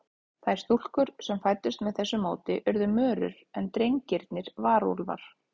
Þær stúlkur sem fæddust með þessu móti urðu mörur, en drengirnir varúlfar.